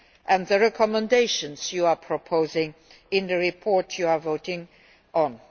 and the recommendations that you are proposing in the report you are voting on.